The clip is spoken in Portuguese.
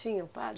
Tinha um padre?